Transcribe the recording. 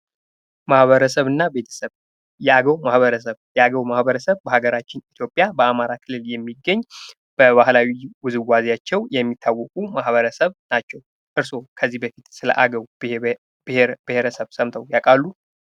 ማህበረሰብና ቤተሰብ የአገው ማህበረሰብ፡- የአገር ማህበረሰብ በሀገራችን ኢትዮጵያ በአማራ ክልል የሚገኝ በባህላዊ ውዝዋዜያቸው የሚታወቁ የማህበረሰብ ክፍሎች ናቸው። እርሶ ከዚህ በፊት ስለአገው ብሄር ብሄረሰብ ሰምተው ያውቃሉ?